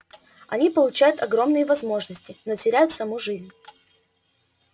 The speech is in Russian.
они получают огромные возможности но теряют саму жизнь